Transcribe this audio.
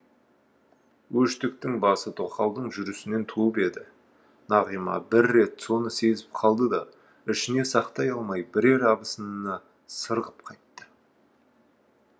өштіктің басы тоқалдың жүрісінен туып еді нағима бір рет соны сезіп қалды да ішіне сақтай алмай бірер абысынына сыр ғып қайтты